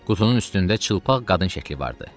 Qutunun üstündə çılpaq qadın şəkli vardı.